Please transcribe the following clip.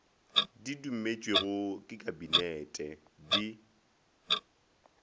di dumetšwego ke kabinete di